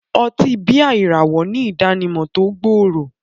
Ọtí bíà ìràwọ̀ ní ìdánimọ̀ tó gbòòrò